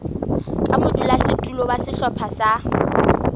ka modulasetulo wa sehlopha sa